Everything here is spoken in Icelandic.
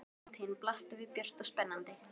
Framtíðin blasti við björt og spennandi.